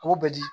K'o bɛ di